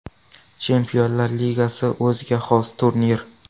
Chempionlar Ligasi o‘ziga xos turnir.